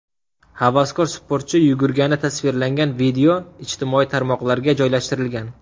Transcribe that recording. Havaskor-sportchi yugurgani tasvirlangan videoni ijtimoiy tarmoqlarga joylashtirgan.